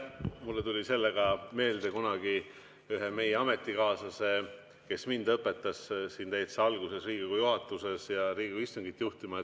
Mulle tuli sellega meelde üks meie kunagine ametikaaslane, kes mind õpetas täitsa alguses Riigikogu juhatuses ja Riigikogu istungit juhtima.